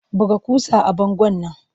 Buga ƙusa a bangon nan!